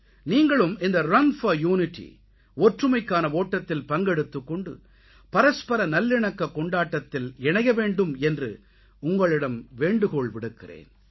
நீங்களும் இந்த run for unity ஒற்றுமைக்கான ஓட்டத்தில் பங்கெடுத்துக் கொண்டு பரஸ்பர நல்லிணக்கக் கொண்டாட்டத்தில் இணைய வேண்டும் என்று உங்களிடம் வேண்டுகோள் விடுக்கிறேன்